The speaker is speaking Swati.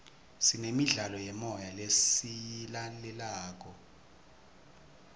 sinemidlalo yemoya lesiyilalelayo